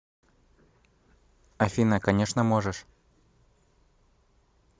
афина конечно можешь